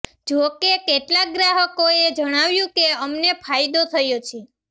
જો કે કેટલાક ગ્રાહકોએ જણાવ્યું કે અમને ફાયદો થયો છે